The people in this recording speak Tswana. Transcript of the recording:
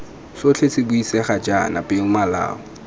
sotlhe se buisegang jaana peomolao